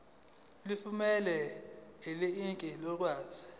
leli fomu linikezelwe